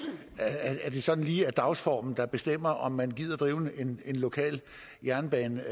det ikke sådan lige er dagsformen der bestemmer om man gider drive en lokal jernbane